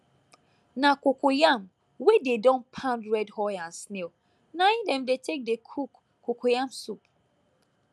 na cocoyam wey dey don pound red oil and snail na im dem dey take dey cook cocoyam soup